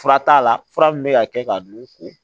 Fura t'a la fura min bɛ ka kɛ ka don u ko